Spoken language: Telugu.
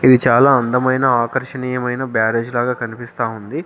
ఇది చాలా అందమైన ఆకర్షణీయమైన బ్యారేజ్ లాగా కనిపిస్తా ఉంది.